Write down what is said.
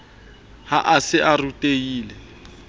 ha a se a rutehile